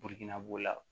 Biriki na b'o la